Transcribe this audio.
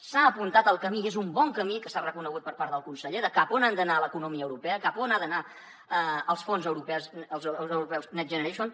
s’ha apuntat el camí i és un bon camí que s’ha reconegut per part del conseller de cap a on ha d’anar l’economia europea cap a on han d’anar els fons europeus next generation